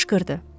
Qışqırdı.